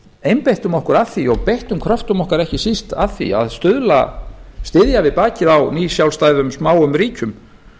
einbeittum okkur að því og beittum kröftum okkar ekki síst að því að styðja við bakið á nýsjálfstæðum smáum ríkjum